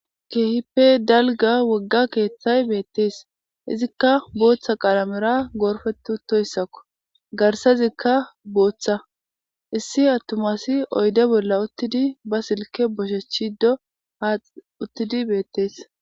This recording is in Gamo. keehippe dalga wogga keeththay beettees izikka booththa qalamera goorfet utoyssakko garsazikka booththa issi attumasi oyde bolla uttidi ba silke boshechido haa uttidi beettees